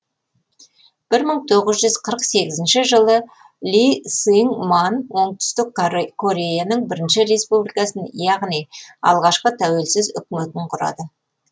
бір мың тоғыз жүз сегізінші жылы ли сың ман оңтүстік кореяның бірінші республикасын яғни алғашқы тәуелсіз үкіметін құрады